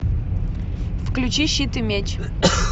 включи щит и меч